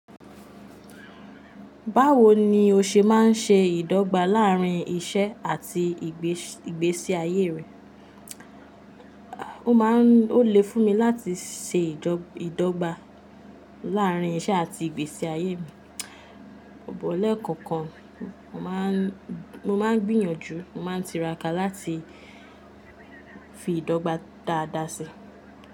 Báwo ni o ṣe máa ń ṣe ìdọ́gba láàárín iṣẹ́ àti ìgbésí ayé rẹ? O máa ń, ó le fún mi láti ṣe ìdọ́gba láárín iṣẹ́ àti ìgbésí ayé mi. Bọ̀ lẹ́kọ̀ọ̀kan, mo máa ń gbìyànjú, mo máa ń tiraka láti fi ìdọ́gba dáadáa síi.